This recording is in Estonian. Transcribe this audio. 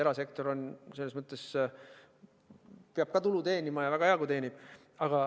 Erasektor peab ka tulu teenima ja on väga hea, kui teenib.